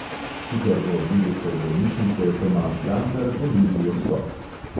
Sicer bo direktor bolnišnice tomaž gantar ponudil odstop.